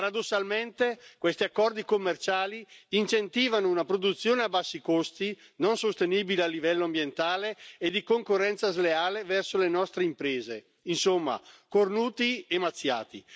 Paradossalmente questi accordi commerciali incentivano una produzione a bassi costi, non sostenibili a livello ambientale, e di concorrenza sleale verso le nostre imprese. Insomma, cornuti e mazziati.